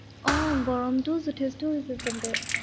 আহ গৰমতো যথেষ্ট হৈছে আচলতে।